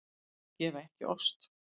Þau gefa ekki ost.